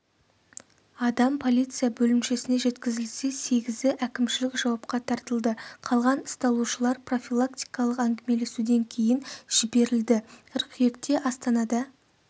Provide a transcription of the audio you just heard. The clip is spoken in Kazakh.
адам полиция бөлімшесіне жеткізілсе сегізі әкімшілік жауапқа тартылды қалған ұсталушылар профилактикалық әңгімелесуден кейін жіберілді қыркүйекте астанада